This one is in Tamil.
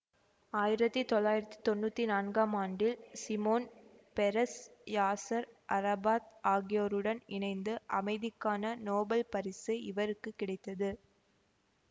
ஆயிரத்தி தொள்ளாயிரத்தி தொன்னூத்தி நான்காம் ஆண்டில் சிமோன் பெரெஸ் யாசர் அராபத் ஆகியோருடன் இணைந்து அமைதிக்கான நோபல் பரிசு இவருக்கு கிடைத்தது